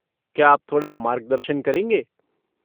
क्या आप थोड़ा मार्गदर्शन करेंगे?